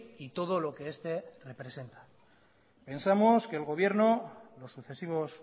y todo lo que este representa pensamos que el gobierno los sucesivos